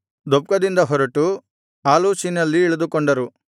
ದೊಪ್ಕದಿಂದ ಹೊರಟು ಆಲೂಷಿನಲ್ಲಿ ಇಳಿದುಕೊಂಡರು